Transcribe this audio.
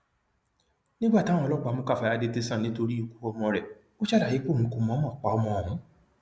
nígbà táwọn ọlọpàá mú káfáyà dé tẹsán nítorí ikú ọmọ rẹ ó ṣàlàyé pé òun kò mọọnmọ pa ọmọ òun